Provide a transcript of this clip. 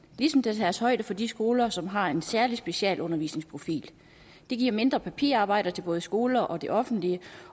ligesom der tages højde for de skoler som har en særlig specialundervisningsprofil det giver mindre papirarbejde til både skoler og det offentlige